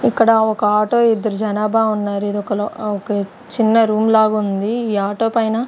ఇక్కడ ఒక ఆటో ఇద్దరు జనాభా ఉన్నారు ఇదొక ల ఒక చిన్న రూమ్ లాగుంది ఈ ఆటో పైన--